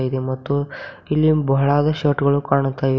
ಮತ್ತು ಇಲ್ಲಿ ಬಹಳಾದ ಶರ್ಟ್ಗಳು ಕಾಣುತ್ತಿವೆ.